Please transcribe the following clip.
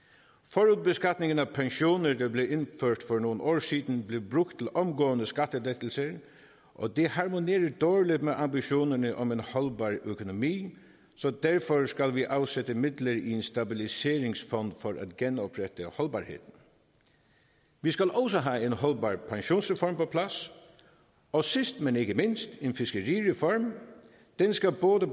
forudbeskatningen af pensioner der blev indført for nogle år siden blev brugt til omgående skattelettelser og det harmonerer dårligt med ambitionerne om en holdbar økonomi så derfor skal vi afsætte midler i en stabiliseringsfond for at genoprette holdbarheden vi skal også have en holdbar pensionsreform på plads og sidst men ikke mindst en fiskerireform den skal både